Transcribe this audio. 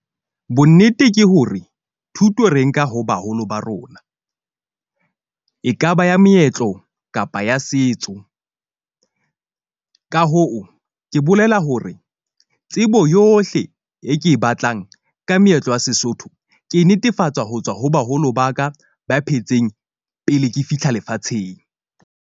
Bonnete ke hore thuto re nka ho baholo ba rona ekaba ya meetlo kapa ya setso. Ka hoo, ke bolela hore tsebo yohle e ke e batlang ka meetlo ya Sesotho. Ke netefatsa ho tswa ho baholo ba ka ba phetseng pele ke fihla lefatsheng.